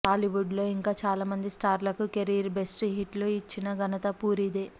టాలీవుడ్లో ఇంకా చాలామంది స్టార్లకు కెరీర్ బెస్ట్ హిట్లు ఇచ్చిన ఘతన పూరీదే